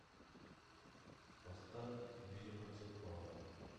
поставь бироцефалы